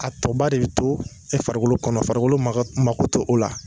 A tɔ ba de bɛ to farikolo kɔnɔ, farikolo mago t'o la.